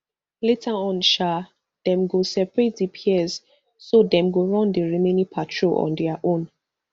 later on sha dem come separate di pairs so dem go run di remaining parol on dia own